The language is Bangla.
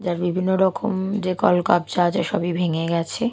যার বিভিন্ন রকম যে কলকব্জা আছে সবই ভেঙে গেছে।